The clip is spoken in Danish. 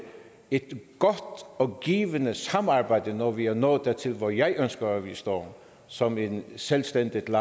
et godt og givende samarbejde når vi er nået dertil hvor jeg ønsker at vi står som et selvstændigt